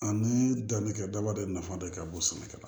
Ani danni kɛ daba de ye nafa de ka bon sɛnɛkɛla